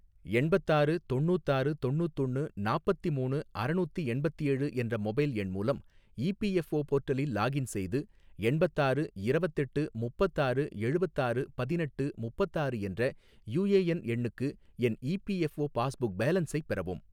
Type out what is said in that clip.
எண்பத்தாறு தொண்ணூத்தாறு தொண்ணூத்தொன்னு நாப்பத்தி மூணு அறநூத்தி எண்பத்தேழு என்ற மொபைல் எண் மூலம் இ பி எஃ ஓ போர்ட்டலில் லாக்இன் செய்து, எண்பத்தாறு இரவத்தெட்டு முப்பத்தாறு எழுவத்தாறு பதினெட்டு முப்பத்தாறு என்ற யூ ஏ என் எண்ணுக்கு என் E P F O passbook பேலன்ஸை பெறவும்